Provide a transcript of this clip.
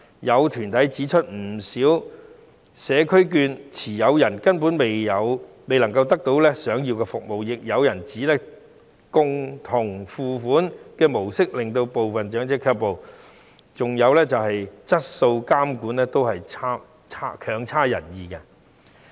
有團體指出，不少社區券持有人根本未能得到想要的服務，亦有人指共同付款的模式會令部分長者卻步，再加上計劃的質素監管亦都差強人意。